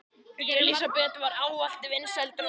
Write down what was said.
Elísabet var ávallt vinsæl drottning.